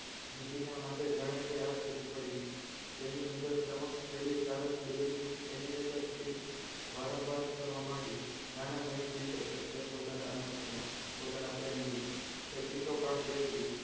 નિકિના માથે જાણે કે આપ તૂટી પડ્યું તેની સમક્ષ નજર પેલી સારસ બેલડીની animated film વારંવાર ફરવા માંડી નાના નહીં જીવી શકે તે પોતાના અનુપ વિના પોતાના પ્રેમ વિના તે ચીસો પાડતી હતી તે ચીસો પાડતી હતી.